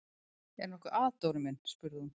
Er nokkuð að, Dóri minn? spurði hún.